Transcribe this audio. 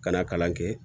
Ka na kalan kɛ